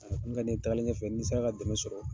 A kun ka di n ye tagalen ɲɛfɛ kɛ ni n sera ka dɛmɛ sɔrɔ,